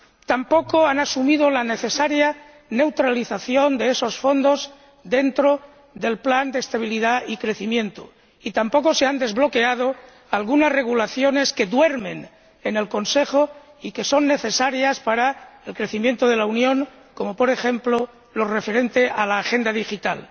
Tampoco han asumido la necesaria neutralización de esos fondos dentro del Pacto de Estabilidad y Crecimiento, y tampoco se han desbloqueado algunos reglamentos que duermen en el Consejo y que son necesarios para el crecimiento de la Unión, como, por ejemplo, el referente a la Agenda Digital.